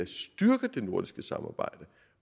nordiske samarbejde